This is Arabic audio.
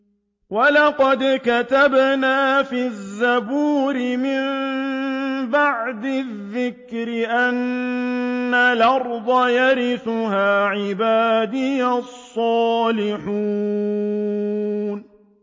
وَلَقَدْ كَتَبْنَا فِي الزَّبُورِ مِن بَعْدِ الذِّكْرِ أَنَّ الْأَرْضَ يَرِثُهَا عِبَادِيَ الصَّالِحُونَ